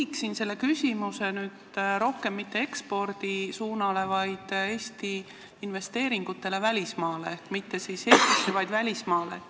Ma sihin küsimuse mitte ekspordi suunale, vaid küsin rohkem Eesti investeeringute kohta välismaal, mitte Eestis, vaid välismaal.